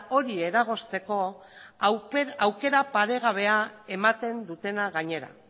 hori eragozteko aukera paregabea ematen dutena gainera